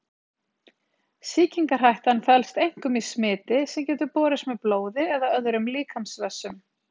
sýkingarhættan felst einkum í smiti sem getur borist með blóði eða öðrum líkamsvessum